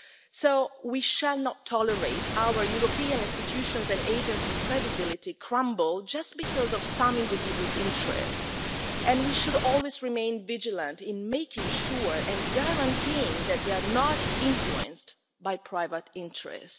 So we shall not tolerate our European institutions and agencies' credibility crumbling just because of some individuals' interest, and we should always remain vigilant in making sure and guaranteeing that they are not influenced by private interest.